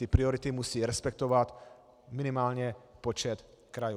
Ty priority musí respektovat minimálně počet krajů.